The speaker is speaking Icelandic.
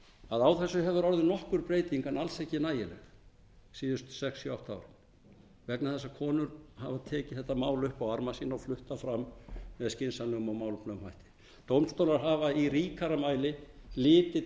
að á þessu hefur orðið nokkur breyting en alls ekki nægileg síðustu sex sjö átta ár vegna þess að konur hafa tekið þetta mál upp á arma sína og flutt það fram með skynsamlegum og málefnalegum hætti dómstólar hafa í ríkara mæli litið